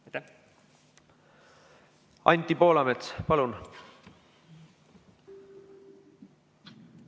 Anti Poolamets, palun!